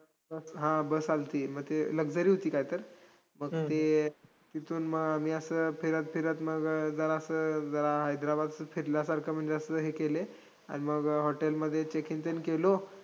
हा, bus आल्ती, मग ते luxury होती काय तर. मग ते तिथून मग आमी असं फिरत फिरत मग अं जरासं अं जरा हैद्राबाद फिरल्यासारखं म्हणजे असं हे केले, आणि मग hotel मध्ये check in ते केलो.